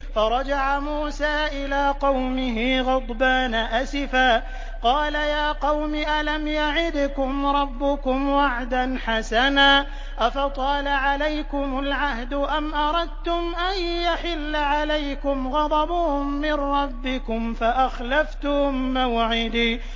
فَرَجَعَ مُوسَىٰ إِلَىٰ قَوْمِهِ غَضْبَانَ أَسِفًا ۚ قَالَ يَا قَوْمِ أَلَمْ يَعِدْكُمْ رَبُّكُمْ وَعْدًا حَسَنًا ۚ أَفَطَالَ عَلَيْكُمُ الْعَهْدُ أَمْ أَرَدتُّمْ أَن يَحِلَّ عَلَيْكُمْ غَضَبٌ مِّن رَّبِّكُمْ فَأَخْلَفْتُم مَّوْعِدِي